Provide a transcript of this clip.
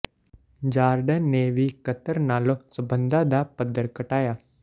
Jordan ਨੇ ਵੀ Qatar ਨਾਲੋਂ ਸਬੰਧਾਂ ਦਾ ਪੱਧਰ ਘਟਾਇਆ